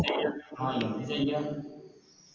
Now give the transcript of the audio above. ആ എന്ത് ചയ്യ